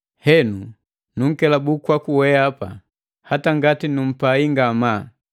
Henu nunkelabu kwaku weapa, hata ngati numpai ngamaa.